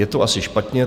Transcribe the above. Je to asi špatně.